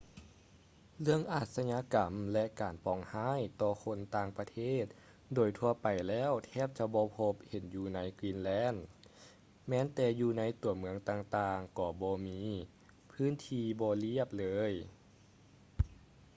ເລື່ອງອາຊະຍາກໍາ ແລະ ການປອງຮ້າຍຕໍ່ຄົນຕ່າງປະເທດໂດຍທົ່ວໄປແລ້ວແທບຈະບໍ່ພົບເຫັນຢູ່ໃນ greenland ແມ່ນແຕ່ຢູ່ໃນຕົວເມືອງຕ່າງໆກໍບໍ່ມີ ພື້ນທີ່ບໍ່ລຽບ ເລີຍ